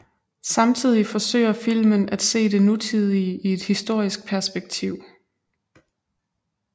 Samtidig forsøger filmen at se det nutidige i et historisk perspektiv